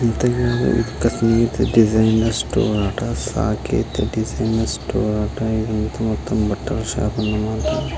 ఇది ఒక tiffin store అంట సాయి కీర్తి టిఫిన్ స్టోర్ అంట ఇక్కడ ఒక బట్టల షాప్ కూడా వుంది.